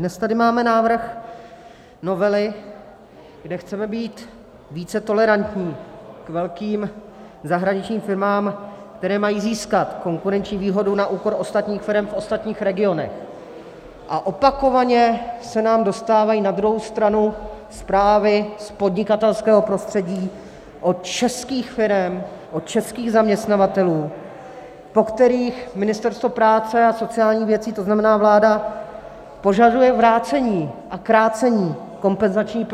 Dnes tady máme návrh novely, kde chceme být více tolerantní k velkým zahraničním firmám, které mají získat konkurenční výhodu na úkor ostatních firem v ostatních regionech, a opakovaně se nám dostávají na druhou stranu zprávy z podnikatelského prostředí od českých firem, od českých zaměstnavatelů, po kterých Ministerstvo práce a sociálních věcí, to znamená vláda, požaduje vrácení a krácení kompenzační